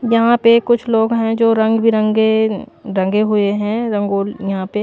यहां पे कुछ लोग हैं जो रंग बिरंगे रंगे हुए हैं रंगोली यहां पे--